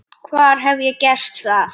Hvar hef ég gert það?